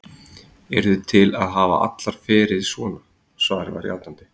Eruð þið til að hafa allar ferið svona? svarið var játandi.